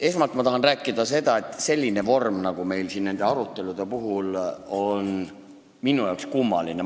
Esmalt tahan öelda, et selline vorm nagu meil siin selliste arutelude puhul on, on minu arvates kummaline.